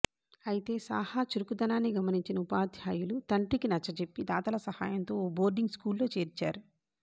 అయితే సాహా చురుకుదనాన్ని గమనించిన ఉపాధ్యాయులు తండ్రికి నచ్చచెప్పి దాతల సాయంతో ఓ బోర్డింగ్ స్కూలులో చేర్చారు